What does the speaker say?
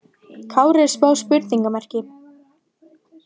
Kári er smá spurningamerki.